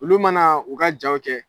Olu mana u ka jaw kɛ